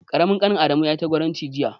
Ƙaramin ƙanin Adamu yayi ta gwaranci jiya.